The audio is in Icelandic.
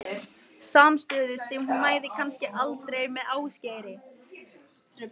Samstöðu sem hún næði kannski aldrei með Ásgeiri.